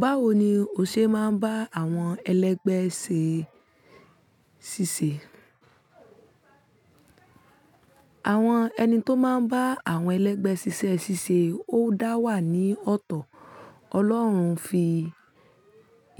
Báwo ni ò ṣe máa ń bá àwọn ẹlẹgbẹ́ ṣè ṣíṣe? Àwọn ẹni tó máa ń bá àwọn ẹlẹgbẹ́ ṣiṣẹ́ ṣíṣe ó dá wà ní ọ̀tọ̀. Ọlọ́run fi